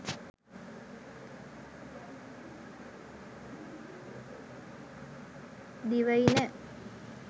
divaina